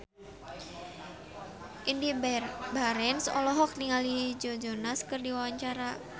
Indy Barens olohok ningali Joe Jonas keur diwawancara